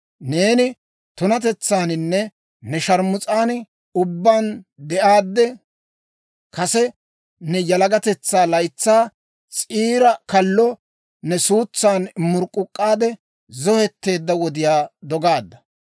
Neeni tunatetsaaninne ne sharmus'an ubbaan de'aadde, kase ne yalagatetsaa laytsaa, s'iira kallo ne suutsan murk'k'uk'k'aade, zohetteedda wodiyaa dogaadda.